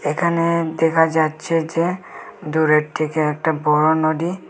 এখানে দেখা যাচ্ছে যে দূরের দিকে একটা বড়ো নদী।